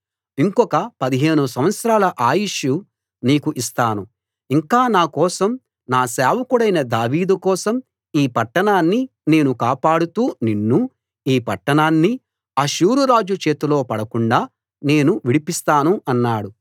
ఇంకొక 15 సంవత్సరాల ఆయుష్షు నీకు ఇస్తాను ఇంకా నా కోసం నా సేవకుడైన దావీదు కోసం ఈ పట్టణాన్ని నేను కాపాడుతూ నిన్నూ ఈ పట్టాణాన్నీ అష్షూరు రాజు చేతిలో పడకుండా నేను విడిపిస్తాను అన్నాడు